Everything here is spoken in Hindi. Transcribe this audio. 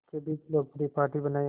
के बीच लोकप्रिय पार्टी बनाया